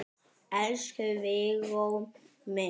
Elsku Viggó minn.